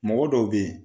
Mɔgɔ dɔw be yen